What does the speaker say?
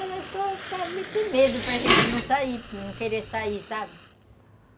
Era só para meter medo, para gente não sair, não querer sair, sabe?